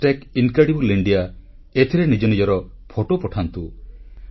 ଅତୁଲ୍ୟ Bharat incredible India ଏଥିରେ ନିଜ ନିଜର ଫଟୋ ପଠାନ୍ତୁ